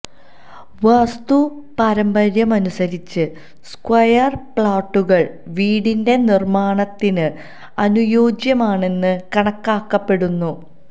വാസ്തു പാരമ്പര്യമനുസരിച്ച് സ്ക്വയര് പ്ലോട്ടുകള് വീടിന്റെ നിര്മ്മാണത്തിന് അനുയോജ്യമാണെന്ന് കണക്കാക്കപ്പെടുന്നു